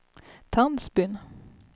Tandsbyn